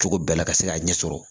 Cogo bɛɛ la ka se k'a ɲɛ sɔrɔ